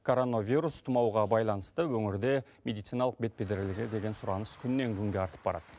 коронавирус тұмауға байланысты өңірде медициналық бетперделерге деген сұраныс күннен күнге артып барады